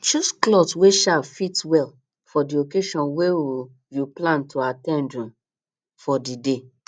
choose cloth wey um fit well for di occasion wey um you plan to at ten d um for di day